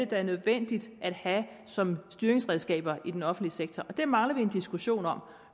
der er nødvendigt at have som styringsredskaber i den offentlige sektor det mangler vi en diskussion om